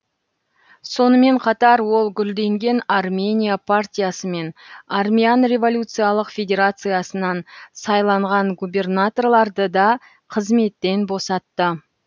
сонымен қатар ол гүлденген армения партиясы мен армян революциялық федерациясынан сайланған губернаторларды да қызметтен босатты